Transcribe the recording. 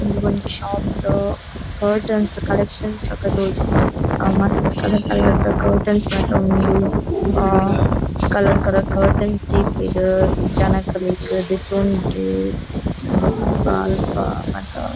ಇಂದು ಒಂಜಿ ಶಾಪ್ ಕಟರ್ನ್ಸ್ ದ ಕಲೆಕ್ಷನ್ಸ್ ಲೆಕ ತೋಜುಂಡು ಮಸ್ತ್ ಕಲರ್ ಕಲರ್ ದ ಕಟರ್ನ್ಸ್ ಮಾತ ಉಂಡು ಆ ಕಲರ್ ಕಲರ್ ಕಟರ್ನ್ಸ್ ದೀತೆರ್ ಜನಕ್ಲೆಗ್ ದೆತೊಂಡ್ರೆ ಬೊಕ ಅಲ್ಪ ಮಾತ.